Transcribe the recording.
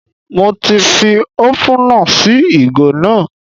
Mo ti fi ópúnà sí ìgò náà